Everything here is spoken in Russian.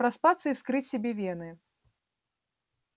проспаться и вскрыть себе вены